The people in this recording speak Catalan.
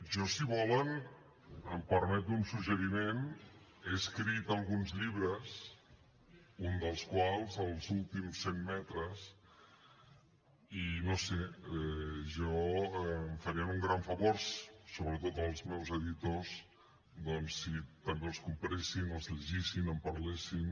jo si volen em permeto un suggeriment he escrit alguns llibres un dels quals els últims cent metres i no ho sé em farien un gran favor sobretot als meus editors doncs si també els compressin els llegissin en parlessin